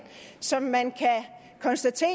som man kan konstatere